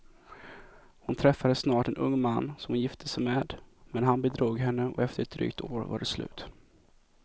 Hon träffade snart en ung man som hon gifte sig med, men han bedrog henne och efter ett drygt år var det slut.